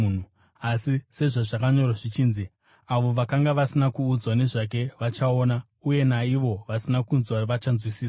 Asi sezvazvakanyorwa zvichinzi: “Avo, vakanga vasina kuudzwa nezvake vachaona, uye naivo vasina kunzwa vachanzwisisa.”